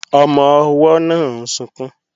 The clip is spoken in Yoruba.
Ọmọ-ọwọ́ náà ń sunkún